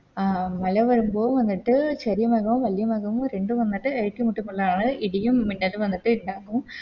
ആ മല വരുമ്പോ എന്നിട്ട് ചെരിയ മലോ വലിയ മലോ രണ്ടും വന്നിട്ട് ഏറ്റുമുട്ടമ്പളാണ് ഇടിയും മിന്നലും വന്നിട്ട് ഇണ്ടാകും